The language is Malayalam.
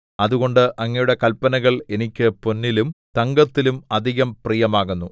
അതുകൊണ്ട് അങ്ങയുടെ കല്പനകൾ എനിക്ക് പൊന്നിലും തങ്കത്തിലും അധികം പ്രിയമാകുന്നു